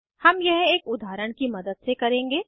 हम यह एक उदाहरण की मदद से करेंगे